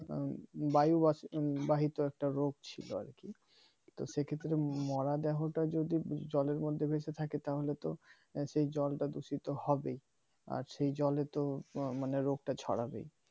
বায়ু বাহিত একটা রোগ ছিল আর কি সেক্ষেত্রে মরা দেহ টা জলের মধ্যে ভেসে থাকে তাহলে তো সেই জলটা দূষিত হবে আর সেই জলে তো মানে রোগটা ছড়াবেই